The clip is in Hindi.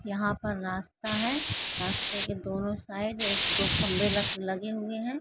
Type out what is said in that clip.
यहां पर रास्ता हैं रास्ते के दोनों साइड खम्बे लगे हुए हैं